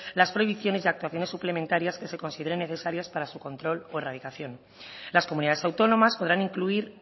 las prohibiciones y actuaciones suplementarias que se consideren necesarias para su control o erradicación las comunidades autónomas podrán incluir